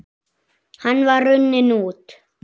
Hann var runninn út